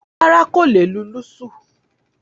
Rárá, kò lè lù lùṣú.